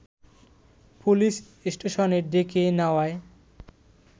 police স্টেশনে ডেকে নেওয়ায়